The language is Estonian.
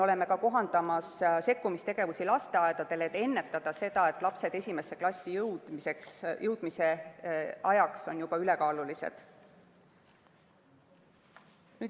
Me kohandame sekkumistegevusi lasteaedadele, et ennetada seda, et lapsed esimesse klassi jõudmise ajaks on juba ülekaalulised.